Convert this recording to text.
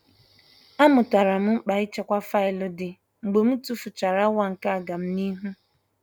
A mụtara m mkpa ịchekwa faịlụ dị mgbe m tufuchara awa nke agamnihu.